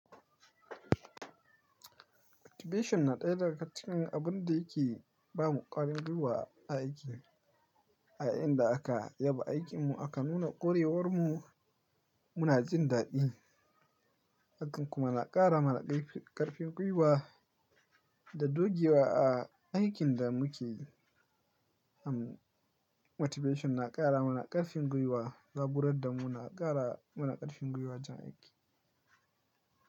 Motivation na ɗaya daga cikin abun da yake bamu ƙwarin gwiwa a aiki. A inda aka yaba aikinmu aka nuna ƙwarewarmu muna jin daɗi. Hakan kuma na ƙara mana ƙarfin gwiwa da dogewa a aikinda muke yi. Am motivation na ƙara mana ƙarfin gwiwa, zaburar da muna ƙara mana ƙarfin gwiwa jan aiki.